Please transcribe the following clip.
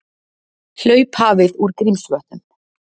Hlaup hafið úr Grímsvötnum